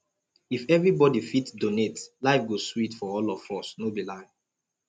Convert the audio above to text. if everybody fit donate life go sweet for all of us no be lie